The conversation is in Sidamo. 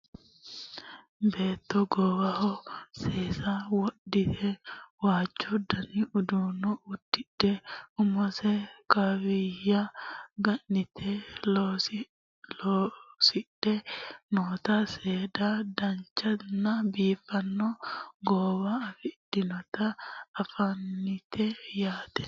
beetto goowaho seesa wodhite waajju dani uddano uddidhe umose kaawiyya ga'nite loosidhe noota seeda dananchonna biifanno goowa afidhinota anfannite yaate